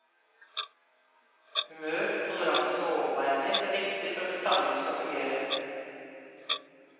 Humør, toleranse og overbærenhet er viktig for at et samliv skal fungere.